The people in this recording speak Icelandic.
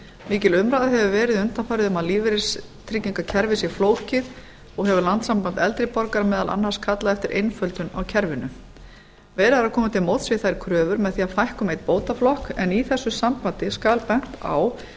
mikil umræða hefur verið undanfarið um að lífeyristryggingakerfið sé flókið og hefur landssamband eldri borgara meðal annars kallað eftir einföldun á kerfinu fleiri hafa komið til móts við þær kröfur með því að fækka um einn bótaflokk en í þessu sambandi skal bent á